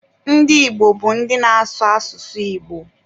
Ndị Igbo bụ ndị na-ásụ̀ asụsụ Igbo.